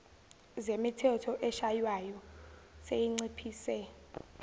zemithetho eshaywayo seyinciphise